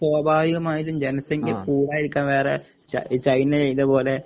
സ്വാഭാവികമായിന്റെ ജനസംഖ്യകൂടാതിരിക്കാൻ വേറെ ചൈ ചൈന ചെയ്തപോലെ